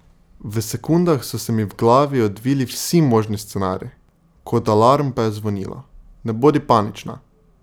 V sekundah so se mi v glavi odvili vsi možni scenarij, kot alarm pa je zvonilo: "Ne bodi panična!